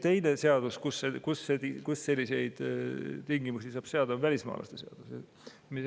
Teine seadus, kus selliseid tingimusi saab seada, on välismaalaste seadus.